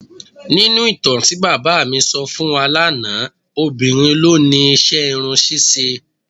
Nínú ìtàn tí bàbá mi sọ fún wa lánàá, obìnrin ló ni iṣẹ́ irun ṣíṣe.